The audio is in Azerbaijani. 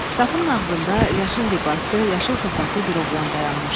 Qapının ağzında yaşıl libaslı, yaşıl papaqllı bir oğlan dayanmışdı.